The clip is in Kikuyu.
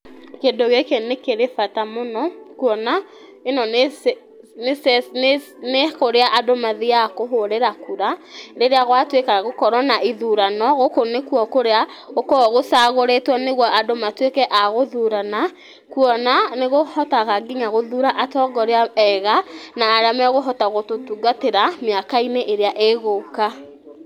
Kĩndũ gĩkĩ nĩ kĩrĩ bata mũno, kuona ĩno nĩ ce ci nĩ kũrĩa andũ mathiaga kũhũrĩra kura, rĩrĩa gwatwĩka gũkorwo na ithurano gũkũ nĩkwo kũrĩa gũkoragwo gũcagũrĩtwo nĩgwo andũ matwĩke agũthurana, kuona nĩkũhotaga nginya gũthura atongoria ega na arĩa makũhota gũtũtungatĩra mĩaka-inĩ ĩrĩa ĩgũka.